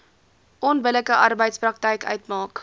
onbillike arbeidspraktyk uitmaak